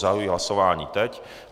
Zahajuji hlasování teď.